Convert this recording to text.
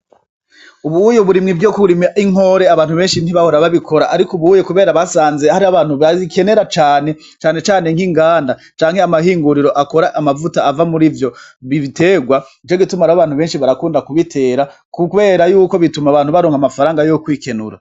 Ubuye uburimyi bwo kurima inkore abantu benshi ntibahora babikora ariko ubuye kubera basanze hari abantu babikenera cane cane nk'inganda canke amahinguriro akora amavuta ava murivyo biterwa nico gituma rero abantu benshi barakunda kubitera kubera yuko bituma abantu baronka amafaranga yo kwikenura